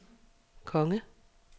konge